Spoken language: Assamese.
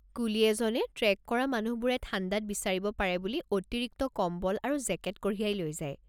কুলী এজনে ট্ৰেক কৰা মানুহবোৰে ঠাণ্ডাত বিচাৰিব পাৰে বুলি অতিৰিক্ত কম্বল আৰু জেকেট কঢ়িয়াই লৈ যায়।